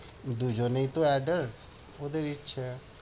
দুইজনেই তো adult ওদের ইচ্ছা।